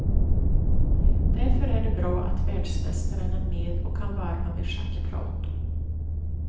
Därför är det bra att världsmästaren är med och kan varva med schackprat.